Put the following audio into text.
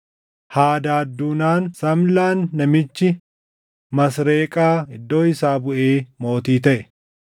Hadaad duunaan Samlaan namichi Masreeqaa iddoo isaa buʼee mootii taʼe.